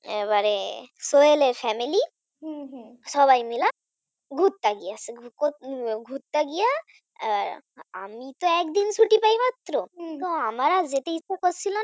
এবারে সোহেলের Family সবাই মিলে ঘুরতে গিয়েছি, ঘুরতে গিয়ে আমি তো একদিন ছুটি পাই মাত্র তো আমার আর যেতে ইচ্ছা করছিল না।